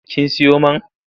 Kin siyo man?